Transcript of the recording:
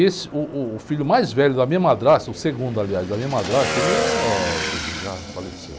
Esse, uh, uh, o filho mais velho da minha madrasta, o segundo, aliás, da minha madrasta, ele é, inclusive, já faleceu.